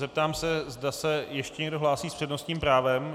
Zeptám se, zda se ještě někdo hlásí s přednostním právem.